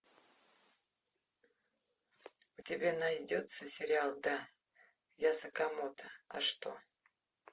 у тебя найдется сериал да я сакамото а что